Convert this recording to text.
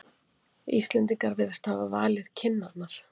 Íslendingar virðast hafa valið kinnarnar.